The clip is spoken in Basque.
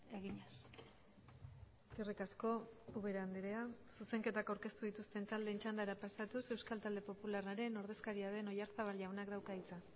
eginez eskerrik asko ubera andrea zuzenketak aurkeztu dituzten taldeen txandara pasatuz euskal talde popularraren ordezkaria den oyarzabal jaunak dauka hitza